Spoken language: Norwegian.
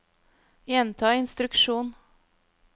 gjenta instruksjon